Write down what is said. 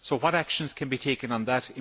So what actions can be taken on that?